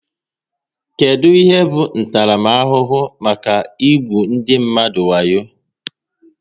Kedụ ihe bụ ntaramahụhụ maka igbu ndị mmadụ wayo?